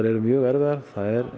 eru mjög erfiðar